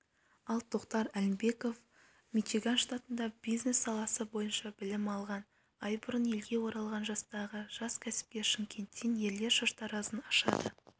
ал тоқтар әлімбеков мичиган штатында бизнес саласы бойынша білім алған ай бұрын елге оралған жастағы жас кәсіпкер шымкенттен ерлер шаштаразын ашады